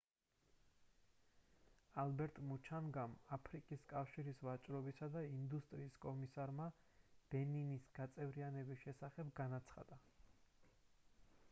ალბერტ მუჩანგამ აფრიკის კავშირის ვაჭრობისა და ინდუსტრიის კომისარმა ბენინის გაწევრიანების შესახებ განაცხადა